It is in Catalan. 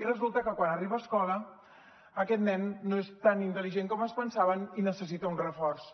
i resulta que quan arriba a escola aquest nen no és tan intel·ligent com es pensaven i necessita un reforç